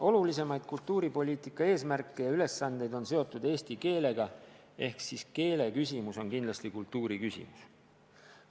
Olulisimaid kultuuripoliitika eesmärke ja ülesandeid on seotud eesti keelega ehk siis keele küsimus on kindlasti kultuuri küsimus.